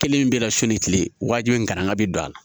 Kelen min bɛ na su ni tile wajibi in kana bi a la